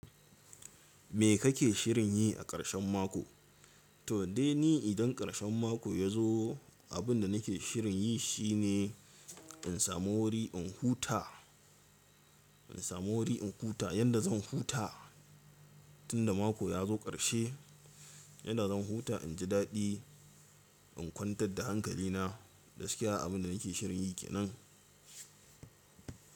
Me kake shirin yi aƙarshen mako? To dai ni idan ƙarshen mako ya zo, abin da nake shirin yi shine in samu wuri in huta, in samu wuri in huta yadda zan huta tunda mako ya zo ƙarshe, yadda zan huta, in ji daɗi, in kwantar da hankali na. Gaskiya abin da nake shirin yi kenan.